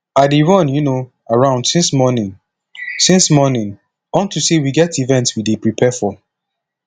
i dey run um around since morning since morning unto say we get event we dey prepare for